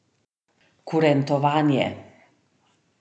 Kurentovanje.